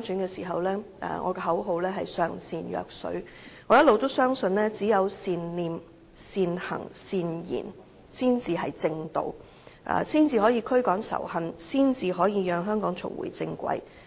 選時的口號是"上善若水"，因我一直相信只有善念、善行、善言，才是正道，才可以驅趕仇恨，讓香港重回正軌。